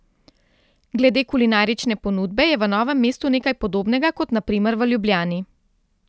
Glede kulinarične ponudbe je v Novem mestu nekaj podobnega kot na primer v Ljubljani.